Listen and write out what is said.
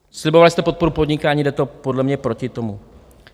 Slibovali jste podporu podnikání, jde to podle mě proti tomu.